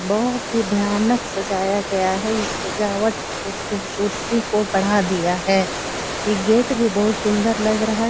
बहोत ही भयानक सजाया गया है ये सजा हुआ खूबसूरती को बढ़ा दिया है ये गेट भी बहोत सुन्दर लग रहा है।